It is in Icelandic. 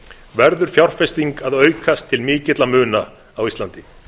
verður fjárfesting að aukast til mikilla muna á íslandi